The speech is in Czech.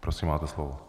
Prosím, máte slovo.